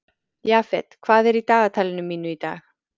Jafet, hvað er í dagatalinu mínu í dag?